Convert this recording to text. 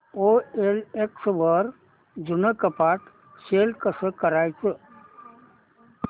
OLX वर जुनं कपाट सेल कसं करायचं